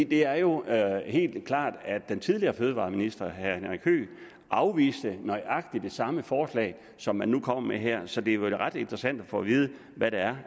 det er jo helt klart at den tidligere fødevareminister herre henrik høegh afviste nøjagtig det samme forslag som man nu kommer med her så det er vel ret interessant at få at vide hvad det er